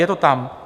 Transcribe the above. Je to tam.